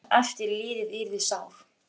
Að sá sem eftir lifði yrði sár.